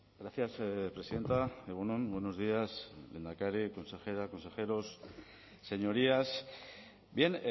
gracias presidenta egun on buenos días lehendakari consejera consejeros señorías bien